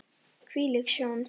Hvílík sjón!